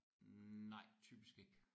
Nej typisk ikke